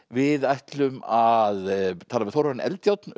við ætlum að tala við Þórarin Eldjárn